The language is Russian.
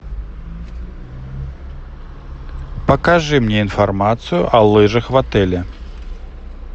покажи мне информацию о лыжах в отеле